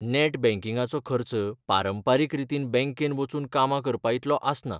Net बँकिंगाचो खर्च पारंपारीक रितीन बँकेन वचून कामां करपाइतलो आसना.